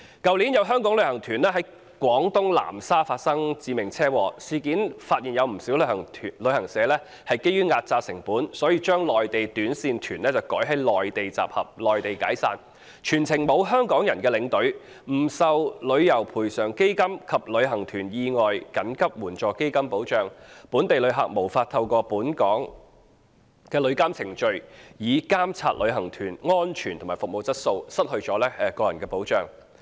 去年，有香港旅行團在廣東南沙發生致命車禍，事件揭發有不少旅行社基於壓榨成本，將內地短線團改在內地集合、內地解散，全程沒有香港人的領隊，不受旅遊業賠償基金及旅行團意外緊急援助基金計劃保障，本地旅客無法透過本港旅遊監管程序，監察旅行團安全及服務質素，失去個人保障。